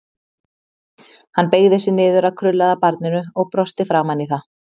Hann beygði sig niður að krullaða barninu og brosti framan í það.